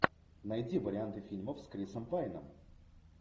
найди варианты фильмов с крисом пайном